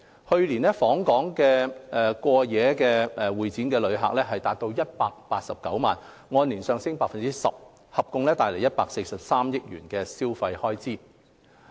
去年，訪港過夜會展旅客達189萬，按年上升 10%， 合共帶來143億元的消費開支。